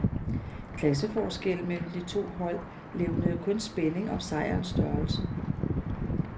Klasseforskellen mellem de to hold levnede kun spænding om sejrens størrelse.